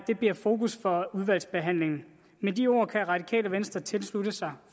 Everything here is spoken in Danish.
det bliver fokus for udvalgsbehandlingen med de ord kan radikale venstre tilslutte sig